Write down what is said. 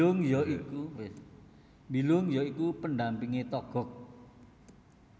Bilung ya iku pendampinge Togog